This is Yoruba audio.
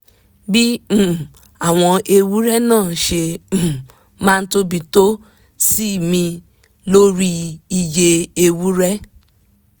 bí um àwọn ewúrẹ́ náà ṣe um máa tóbi tó sinmi lórí iye ewúrẹ́